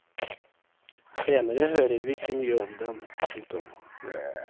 Senere hører vi ikke mye om den. punktum